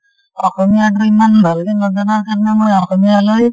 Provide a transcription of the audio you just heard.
অসমীয়াটো ইমান ভালকে নাজানাৰ কাৰনে মই অসমীয়া লৈ